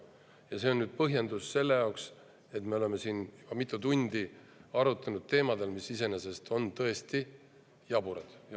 Ja see põhjendab nüüd seda, et me oleme siin mitu tundi arutanud teemadel, mis iseenesest on tõesti jaburad.